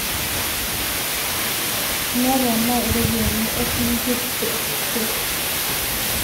neponaa iropiyiani oosinkir te Te